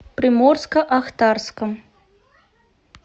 приморско ахтарском